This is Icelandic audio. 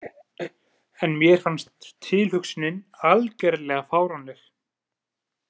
En mér fannst tilhugsunin algerlega fáránleg.